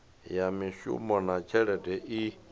ya mishumo na tshelede i